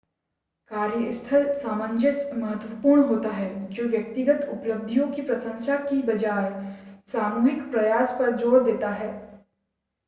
कार्यस्थल सामंजस्य महत्वपूर्ण होता है जो व्यक्तिगत उपलब्धियों की प्रशंसा की बजाय सामूहिक प्रयास पर ज़ोर देता है